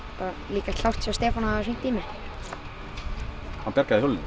líka klárt hjá Stefáni að hringja í mig hann bjargaði hjólinu